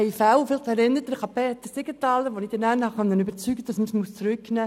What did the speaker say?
Vielleicht erinnern Sie sich an Peter Siegenthaler, den ich überzeugen konnte, dies zurückzunehmen.